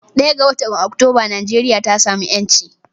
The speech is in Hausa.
1 ga watan oktoba Nigeria ta samu yanci.